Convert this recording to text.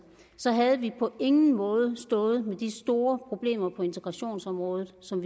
så på ingen måde ville stået med de store problemer på integrationsområdet som